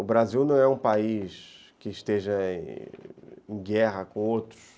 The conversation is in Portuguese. O Brasil não é um país que esteja em guerra com outros.